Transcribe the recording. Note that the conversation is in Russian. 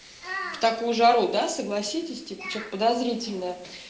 в такую жару да согласитесь типа что-то подозрительное